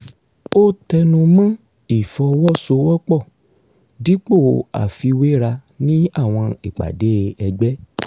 ó tẹnu mọ́ ìfọwọ́sowọ́pọ̀ dípò àfiwéra ní àwọn ìpàdé ẹgbẹ́